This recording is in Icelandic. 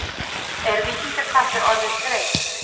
Er Víkingaklappið orðið þreytt?